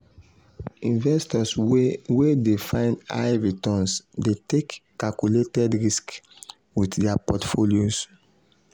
investors wey wey dey find high returns dey take calculated risks with dia portfolios.